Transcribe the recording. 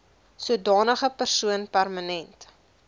sodanige persoon permanent